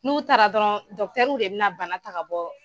N'u taara dɔrɔn dɔkitɛriw de bɛna bana ta ka bɔ.